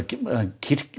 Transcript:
kirkjan